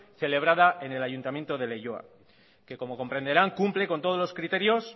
celebrada en el ayuntamiento de leioa que como comprenderán cumple con todos los criterios